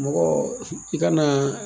Mɔgɔ i kana